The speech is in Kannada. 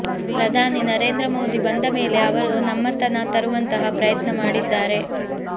ಪ್ರಧಾನಿ ನರೇಂದ್ರ ಮೋದಿ ಬಂದ ಮೇಲೆ ಅವರು ನಮ್ಮತನ ತರುವಂತಹ ಪ್ರಯತ್ನ ಮಾಡಿದ್ದಾರೆ